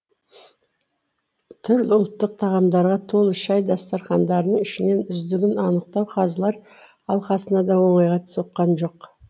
түрлі ұлттық тағамдарға толы шай дастархандарын ішінен үздігін анықтау қазылар алқасына да оңайға соққан жоқ